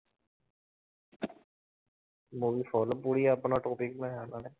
Movie full ਪੂਰੀ ਆਪਣਾ topic ਮੈਂ